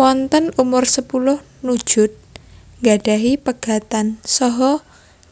Wonten umursepuluh Nujood nggadahi pegatan saha